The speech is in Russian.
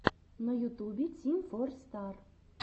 на ютубе тим фор стар